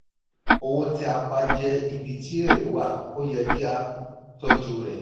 owó tí a pa jẹ́ ibi tí èrè wà ó yẹ kí a tojú rẹ.